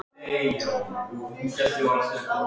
Skreppa fram í stofu og ná í fleiri vísindatímarit.